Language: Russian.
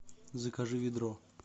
закажи ведро